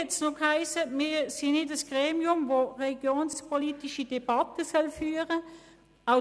Dann hat es noch geheissen, wir seien kein Gremium, das religionspolitische Debatten führen solle.